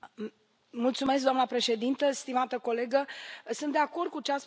Doamna președintă, stimată colegă, sunt de acord cu ce ați spus dumneavoastră.